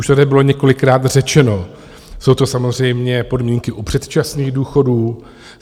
Už tady bylo několikrát řečeno, jsou to samozřejmě podmínky u předčasných důchodů.